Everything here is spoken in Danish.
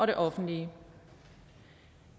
det offentlige